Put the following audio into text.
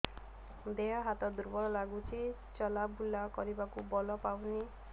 ଦେହ ହାତ ଦୁର୍ବଳ ଲାଗୁଛି ଚଲାବୁଲା କରିବାକୁ ବଳ ପାଉନି